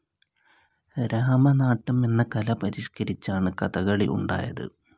രാമനാട്ടം എന്ന കല പരിഷ്കരിച്ചാണ് കഥകളി ഉണ്ടായത്.